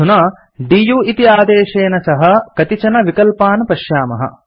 अधुना दु इति आदेशेन सह कतिचन विकल्पान् पश्यामः